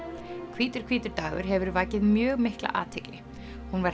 hvítur hvítur dagur hefur vakið mjög mikla athygli hún var